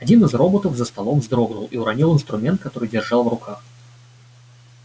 один из роботов за столом вздрогнул и уронил инструмент который держал в руках